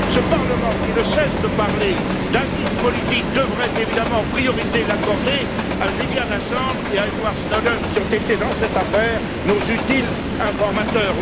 Ce Parlement, qui ne cesse de parler d'asile politique, devrait évidemment en priorité l'accorder à Julian Assange et à Edward Snowden, qui ont été, dans cette affaire, nos utiles informateurs.